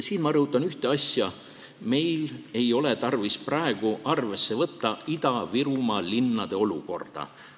Ma rõhutan ühte asja: meil ei ole tarvis praegu arvesse võtta Ida-Virumaa linnade olukorda.